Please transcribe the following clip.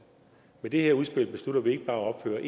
med det her udspil beslutter vi ikke bare at opføre